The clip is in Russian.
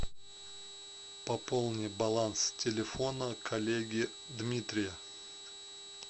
пополни баланс телефона коллеги дмитрия